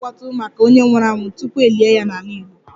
A na-eme mkpọtụ maka onye nwụrụ anwụ tupu e lie ya n'ala Igbo